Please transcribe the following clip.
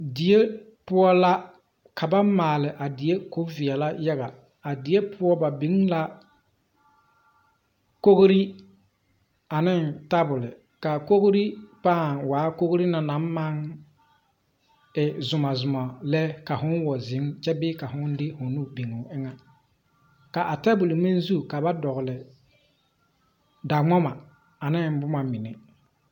Die poʊ la. Ka ba maale a die ka o viɛle yaga. A die poʊ, ba biŋ la kogre ane tabule. Ka a kogre paaŋ waa kogre naŋ maŋ e zumo zumo lɛ ka fo wa zeŋ kyɛ bee ka fo wa de fo nu biŋ o eŋe. Ka a tabule meŋ zu, ka ba dogle daŋmama ane boma mene